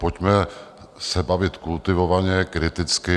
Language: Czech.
Pojďme se bavit kultivovaně, kriticky.